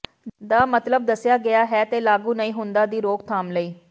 ਦਾ ਮਤਲਬ ਦੱਸਿਆ ਗਿਆ ਹੈ ਤੇ ਲਾਗੂ ਨਹੀ ਹੁੰਦਾ ਦੀ ਰੋਕਥਾਮ ਲਈ